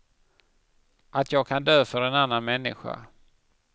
Att jag kan dö för en annan människa.